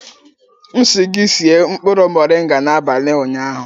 M sị gị sie nkpụrụ moringa n'abalị ụnyaahụ!